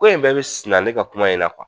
Ko in bɛɛ be suruya ne ka kuma in na